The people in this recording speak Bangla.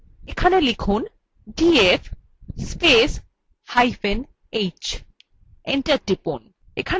এবার লিখুন df spacehyphen h enter টিপুন